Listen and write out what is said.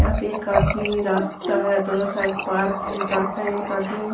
यहां पे एक आदमी रास्ता है दोनों साइड पार्क ही पार्क है एक आदमी।